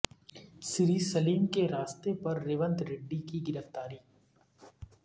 سری سلیم کے راستے پر ریونت ریڈی کی گرفتاری